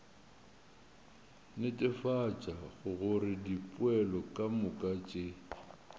netefatša gore dipoelo kamoka tše